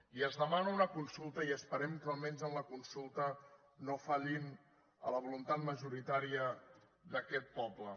i es demana una consulta i esperem que almenys en la consulta no fallin a la voluntat majoritària d’aquest poble